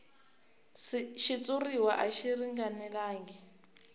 xitshuriwa a xi ringanelangi